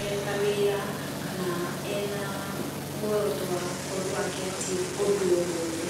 e ta wĩra, kana ena mũoroto wa gũkorũo akĩ achieve ũndũ o wothe.